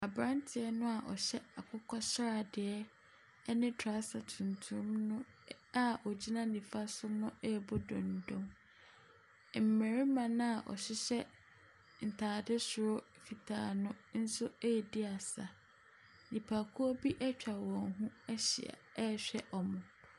Abranteɛ na ɔhyɛ akokɔ sradeɛ ɛne traser tuntum no a ɔgyina nifa so no ɛrebɔ dondo. Mmarimma naa ɔhyehyɛ ntaade soro fitaa no nso ɛredi asa. Nnipakuo bi ɛtwa wɔn ho ahyia ɛrehwɛ wɔn.